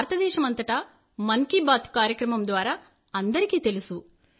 భారతదేశం అంతటా మన్ కీ బాత్ కార్యక్రమం ద్వారా అందరికీ తెలుసు